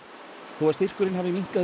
þó að styrkurinn hafi minnkað